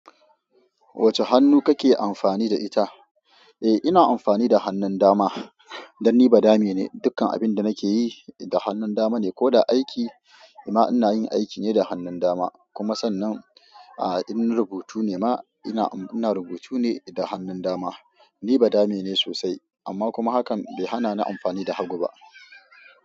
Wacce hannu kake amfani da ita? Eh ina amfani da hannun dama dan ni badame ne, dukkan abinda nakeyi da hannun dama ne, koda aiki ma inayin aiki ne da hannun dama kuma sannan in rubutu ne ma ina rubutu ne da hannun dama. Ni badame ne sosai amma kuma hakan bai hanani amfani da hagu ba.